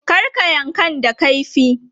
Kar ka yankan da kaifi!